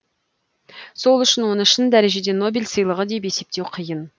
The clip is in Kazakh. сол үшін оны шын дәрежеде нобель сыйлығы деп есептеу қиын